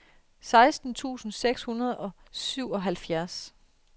seksten tusind seks hundrede og syvoghalvfjerds